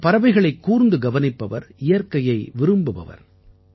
இவர் பறவைகளைக் கூர்ந்து கவனிப்பவர் இயற்கையை விரும்புபவர்